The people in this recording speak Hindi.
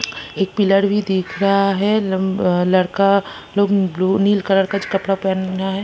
एक पिलर भी दिख रहा है लंबा अ लड़का लोग ब्लू नील कलर का कपड़ा पहना है।